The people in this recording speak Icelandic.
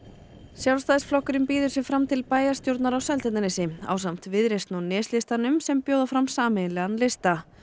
Sjálfstæðisflokkurinn býður sig fram til bæjarstjórnar á Seltjarnarnesi ásamt Viðreisn og sem bjóða fram sameiginlegan lista